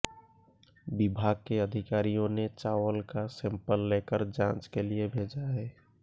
विभाग के अधिकारियों ने चावल का सैंपल लेकर जांच के लिए भेजा है